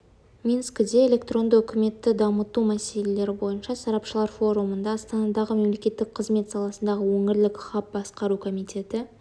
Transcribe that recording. минскіде электронды үкіметті дамыту мәселелері бойынша сарапшылар форумында астанадағы мемлекеттік қызмет саласындағы өңірлік хаб басқару комитеті